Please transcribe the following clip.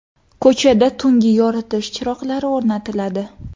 Ko‘chada tungi yoritish chiroqlari o‘rnatiladi.